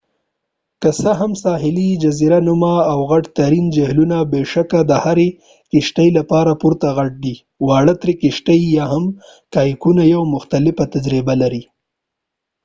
که څه هم ساحلي جزیره نما او غټ ترین جهیلونه بې شکه د هرې کشتۍ لپاره پوره غټ دي واړه ترې کشتۍ یا هم کایاکونه یوه مختلفه تجربه لري